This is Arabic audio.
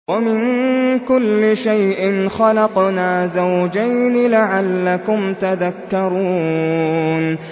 وَمِن كُلِّ شَيْءٍ خَلَقْنَا زَوْجَيْنِ لَعَلَّكُمْ تَذَكَّرُونَ